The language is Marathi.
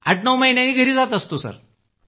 आठनऊ महिन्यांनी घरी जात असतो